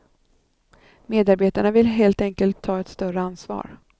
Medarbetarna vill helt enkelt ta ett större ansvar.